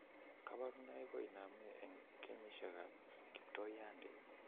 Kaborunoik koinome eng' kenyisiek ab kiptoiyandit